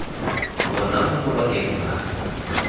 ona mo mabakeng a a